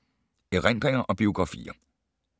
Erindringer og biografier